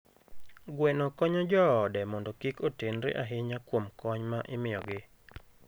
Gweno konyo joode mondo kik otenre ahinya kuom kony ma imiyogi.